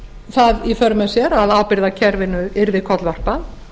það í för með sér að ábyrgðarkerfinu yrði kollvarpað